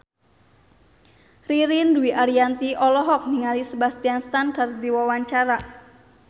Ririn Dwi Ariyanti olohok ningali Sebastian Stan keur diwawancara